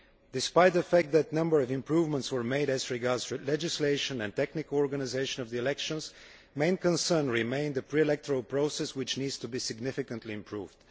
Despite the fact that a number of improvements were made as regards legislation and the technical organisation of the elections, the main concern remained the pre electoral process, which needs to be significantly improved.